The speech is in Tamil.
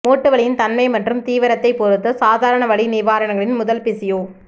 மூட்டுவலியின் தன்மை மற்றும் தீவிரத்தை பொறுத்து சாதாரண வலி நிவாரணிகள் முதல் பிசியோ